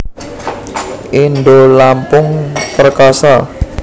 Indolampung Perkasa